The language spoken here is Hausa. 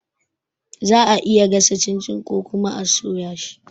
Za'a iya gasa cin-cin ko kuma a soya shi